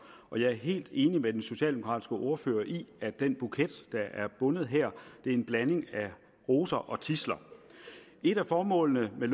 og jeg er helt enig med den socialdemokratiske ordfører i at den buket der er bundet her er en blanding af roser og tidsler et af formålene med